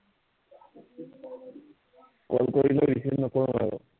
call কৰিলে receive নকৰো আৰু